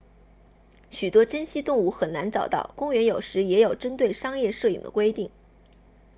许多珍稀动物很难找到公园有时也有针对商业摄影的规定